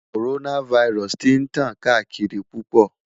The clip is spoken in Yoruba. Coronavirus ti n tan kaakiri pupọ